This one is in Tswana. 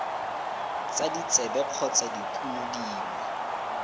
tsa ditsebe kgotsa dikumo dingwe